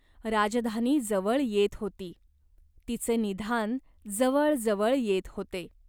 राजधानी जवळ येत होती. तिचे निधान जवळ जवळ येत होते.